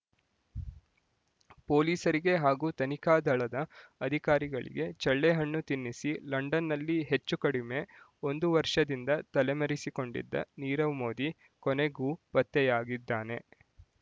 ಪೊಲೀಸರಿಗೆ ಹಾಗೂ ತನಿಖಾ ದಳದ ಅಧಿಕಾರಿಗಳಿಗೆ ಚಳ್ಳೆಹಣ್ಣು ತಿನ್ನಿಸಿ ಲಂಡನ್‌ನಲ್ಲಿ ಹೆಚ್ಚು ಕಡಿಮೆ ಒಂದು ವರ್ಷದಿಂದ ತಲೆಮರೆಸಿಕೊಂಡಿದ್ದ ನೀರವ್ ಮೋದಿ ಕೊನೆಗೂ ಪತ್ತೆಯಾಗಿದ್ದಾನೆ